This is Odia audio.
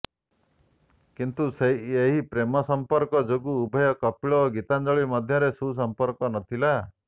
କିନ୍ତୁ ଏହି ପ୍ରେମ ସମ୍ପର୍କ ଯୋଗୁ ଉଭୟ କପିଳ ଓ ଗୀତାଞ୍ଜଳି ମଧ୍ୟରେ ସୁସମ୍ପର୍କ ନ ଥିଲା